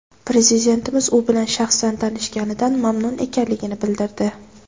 Prezidentimiz u bilan shaxsan tanishganidan mamnun ekanligini bildirdi.